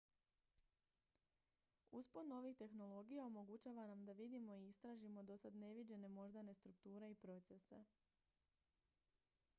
uspon novih tehnologija omogućava nam da vidimo i istražimo dosad neviđene moždane strukture i procese